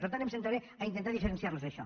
per tant em centraré a intentar diferenciar los això